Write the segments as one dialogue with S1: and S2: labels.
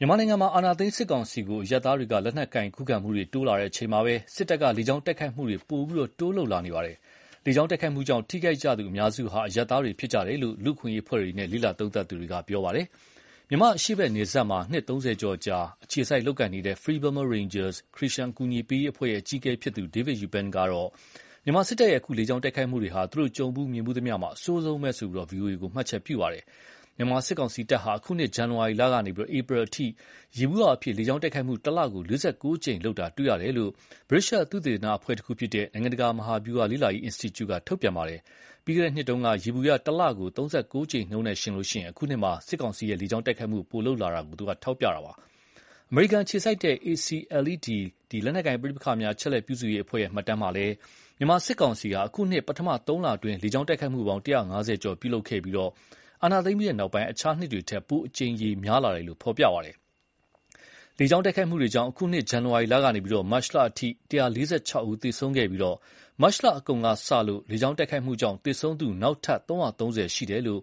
S1: မြန်မာနိုင်ငံမှာ အာဏာသိမ်းစစ်ကောင်စီကို အရပ်သားတွေက လက်နက်ကိုင်ခုခံမှုတွေ တိုးလာချိန်မှာပဲ၊ စစ်တပ်က လေကြောင်းတိုက်ခိုက်မှုတွေတိုးလာလာနေပါတယ်။ လေကြောင်းတိုက်ခိုက်မှုကြောင့် ထိခိုက်ကြသူအများစုဟာ အရပ်သားတွေဖြစ်ကြတယ်လို့ လူ့အခွင့်အရေးအဖွဲ့တွေနဲ့ လေ့လာသုံးသပ်သူတွေကပြောပါတယ်။ မြန်မာအရှေ့ဖက်နယ်စပ်မှာ နှစ်၃၀ကြာ အခြေစိုက်လုပ်ကိုင်နေတဲ့ Free Burma Rangers ခရစ်ယာန်အကူအညီပေးရေးအဖွဲ့ရဲ့ အကြီးအကဲဖြစ်သူ David Eubank ကတော့ မြန်မာစစ်တပ်ရဲ့ အခု လေကြောင်းတိုက်ခိုက်မှုတွေဟာ သူတို့ကြုံဖူးမြင်ဖူးသမျှမှာ အဆိုးဆုံးပဲလို့ VOA ကို မှတ်ချက်ပြုပါတယ်။ မြန်မာစစ်ကောင်စီတပ်ဟာ အခုနှစ် ဇန်နဝါရီလကနေ ဧပြီလအထိ ယေဘူယျအားဖြင့် လေကြောင်းတိုက်ခိုက်မှု တလကို ၄၉ ကြိမ်လုပ်တာတွေ့ရတယ်လို့ ဗြိတိသျှသုတေသနအဖွဲ့တခုဖြစ်တဲ့ နိုင်င့တကာမဟာဗျူဟာလေ့လာရေးအင်စတီကျူက ထုတ်ပြန်ထားပါတယ်။ ပြီးခဲ့တဲ့နှစ်တုန်းက ယေဘူယျ တလကို ၃၉ကြိမ်နှုန်းနဲ့ယှဉ်ရင် အခုနှစ်မှာ စစ်ကောင်စီက လေကြောင်းတိုက်ခိုက်မှုပိုလုပ်လာတယ်လို့ ထောက်ပြထားတာပါ။ အမေရိကန်အခြေစိုက် ACLED လက်နက်ကိုင်ပဋိပက္ခများအချက်အလက်ပြုစုရေးအဖွဲ့ရဲ့ မှတ်တမ်းမှာလည်း မြန်မာစစ်ကောင်စီဟာ အခုနှစ် ပထမသုံးလအတွင်း လေကြောင်းတိုက်ခိုက်မှုပေါင်း ၁၅၀ ကျော်ပြုလုပ်ခဲ့ပြီး၊ အာဏာသိမ်းပြီးနောက် အခြားနှစ်တွေထက် ပိုအကြိမ်ရေများလာတယ်လို့ ဖော်ပြပါတယ်။ လေကြောင်းတိုက်ခိုက်မှုတွေကြောင့် အခုနှစ် ဇန်နဝါရီလကနေ မတ်လအထိ ၁၄၆ ဦးသေဆုံးခဲ့ပြီး၊ မတ်လအကုန်ကစလို့ လေကြောင်းတိုက်ခိုက်မှုကြောင့် သေဆုံးသူ နောက်ထပ် ၃၃၀ ရှိတယ်လို့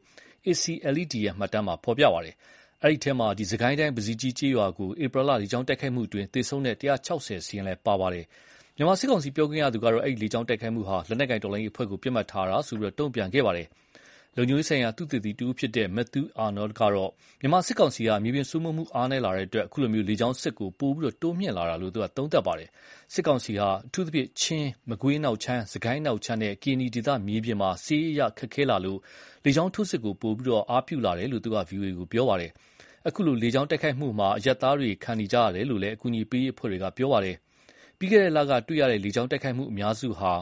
S1: ACLED ရဲ့ မှတ်တမ်းမှာဖော်ပြပါတယ်။ အဲဒီမှာတော့ စစ်ကိုင်းတိုင်း ပဇီကြီးကျေးရွာကို ဧပြီလ လေကြောင်း တိုက်ခိုက်မှုအတွင်း သေဆုံးတဲ့ ၁၆၀ စာရင်းလည်းပါဝင်ပါတယ်။ မြန်မာစစ်ကောင်စီပြောခွင့်ရသူကတော့ အဲဒီ လေကြောင်းတိုက်ခိုက်မှုဟာ လက်နက်ကိုင်တော်လှန်ရေး အဖွဲ့ကို ပစ်မှတ်ထားလို့ တုန့်ပြန်ခဲ့ပါတယ်။ လုံခြုံရေးဆိုင်ရာသုတေသီတဦးဖြစ်တဲ့ Matthew Arnold ကတော့ မြန်မာစစ်ကောင်စီဟာ မြေပြင်စိုးမိုးမှုအားနည်းလာတဲ့အတွက် အခုလို လေကြောင်းစစ်ကို ပိုတိုးမြှင့်လာတာလို့ သုံးသပ်ပါတယ်။ စစ်ကောင်စီဟာ အထူးသဖြင့် ချင်း၊ မကွေးအနောက်ခြမ်း စစ်ကိုင်းအနောက်ခြမ်းနဲ့ ကရင်နီဒေသ မြေပြင်မှာ စစ်ရေးအရခက်ခဲလာလို့၊ လေကြောင်းထိုးစစ်ကို ပိုပြီး သုံးလာတာလို့ သူက ဗွီအိုအေကို ပြောပါတယ်။ အခုလို လေကြောင်းတိုက်ခိုက်မှုမှာ အရပ်သားတွေခံကြရတယ်လို့ အကူအညီပေးရေးအဖွဲ့တွေက ပြောပါတယ်။ ပြီးခဲ့တဲ့လက တွေ့ရတဲ့ လေကြောင်းတိုက်ခိုက်မှုအများစုဟာ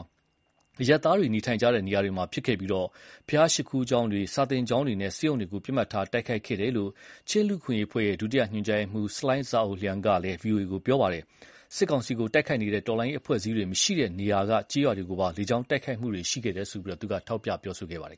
S1: အရပ်သားတွေနေထိုင်ကြတဲ့ နေရာတွေမှာဖြစ်ခဲ့ပြီး၊ ဘုရားရှိခိုးကျောင်းတွေ စာသင်ကျောင်းတွေနဲ့ ဆေးရုံတွေကို ပစ်မှတ်ထား တိုက်ခိုက်ခဲ့တယ်လို့ ချင်းလူ့အခွင့်အရေးအဖွဲ့ ဒုတိယညွန်ကြားရေးမှုး Salai Za Uk Ling က လည်း ဗွီအိုအေကို ပြောခဲ့ပါတယ်။ စစ်ကောင်စီကိုတိုက်ခိုက်နေတဲ့ တော်လှန်ရေးအဖွဲ့အစည်းတွေမရှိတဲ့နေရာက ကျေးရွာတွေကိုပါ လေကြောင်းတိုက်ခိုက်မှုရှိခဲ့တယ်လို့ သူက ပြောဆိုခဲ့ပါတယ်